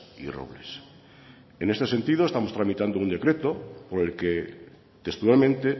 y robles en este sentido estamos tramitando un decreto por el que textualmente